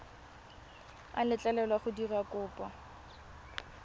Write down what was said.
a letlelelwa go dira kopo